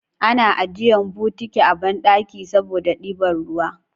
Ana ajjiye bukiti a banɗaki saboda ɗiban ruwa